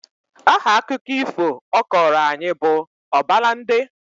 Aha akụkọ ifo ọ kọọrọ anyị bụ Ọbalande